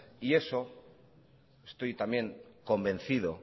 y eso estoy también convencido